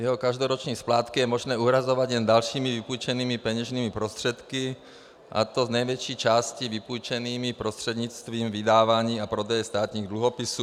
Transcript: Jeho každoroční splátky je možné uhrazovat jen dalšími vypůjčenými peněžními prostředky, a to z největší části vypůjčenými prostřednictvím vydávání a prodeje státních dluhopisů.